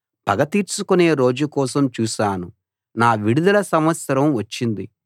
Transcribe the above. పగ తీర్చుకునే రోజు కోసం చూశాను నా విడుదల సంవత్సరం వచ్చింది